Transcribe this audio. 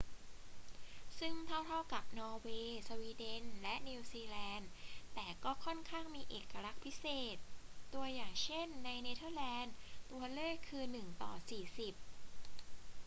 ซึ่งเท่า ๆ กับนอร์เวย์ สวีเดน และนิวซีแลนด์ แต่ก็ค่อนข้างมีเอกลักษณ์พิเศษ ตัวอย่าง เช่น ในเนเธอร์แลนดื ตัวเลขคือ 1 ต่อ 40